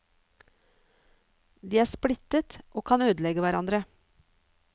De er splittet, og kan ødelegge hverandre.